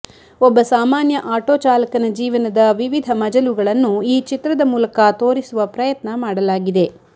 ಒಬ್ಬ ಸಾಮಾನ್ಯ ಆಟೋ ಚಾಲಕನ ಜೀವನದ ವಿವಿಧ ಮಜಲುಗಳನ್ನು ಈ ಚಿತ್ರದ ಮೂಲಕ ತೋರಿಸುವ ಪ್ರಯತ್ನ ಮಾಡಲಾಗಿದೆ